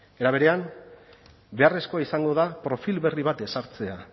era berean beharrezkoa izango da profil berri bat ezartzea